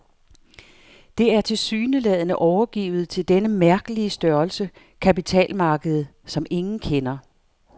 Det er tilsyneladende overgivet til denne mærkelige størrelse, kapitalmarkedet, som ingen kender.